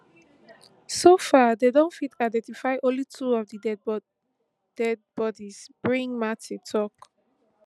so far dem don fit identify only two of di dead bodies brig mathe tok